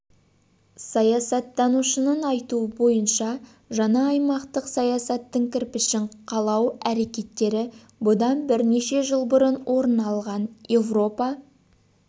саясаттанушының айтуы бойынша жаңа аймақтық саясаттың кірпішін қалау әрекеттері бұдан бірнеше жыл бұрын орын алған еуропа